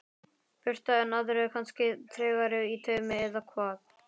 Birta: En aðrir kannski tregari í taumi eða hvað?